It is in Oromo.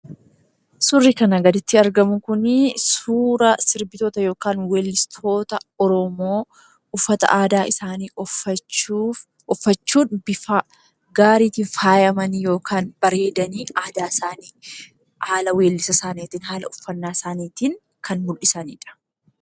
Suurri kana gaditti argamu kunii suura sirbitoota yookaan weellistoota oromoo, uffata aadaa isaanii uffachuun bifa gaariitiin faayamanii yookaan bareedanii, aadaa isaanii haala weellisa isaaniitiin, haala uffannaa isaaniitiin kan mul'isanidha.